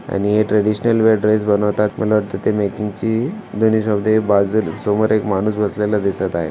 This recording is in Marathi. आणि हे ट्रेडिशनल वेअर ड्रेस बनवतात मला वाटतय ची दोन्ही सोदे बाजू समोर एक माणूस बसलेलं दिसत आहे.